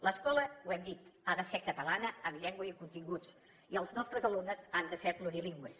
l’escola ho hem dit ha de ser catalana amb llengua i continguts i els nostres alumnes han de ser plurilingües